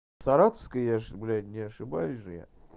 саратовская я же блять не ошибаюсь же я